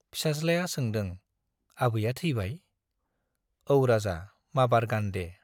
फिसाज्लाया सोंदों, आबैया थैबाय ? औ राजा, माबार गान दे।